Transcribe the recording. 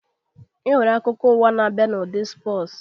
E nwere akụkọ ụwa na-abịa n'ụdị spọsu